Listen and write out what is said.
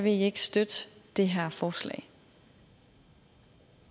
i ikke støtte det her forslag